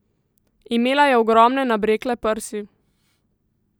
Imela je ogromne nabrekle prsi.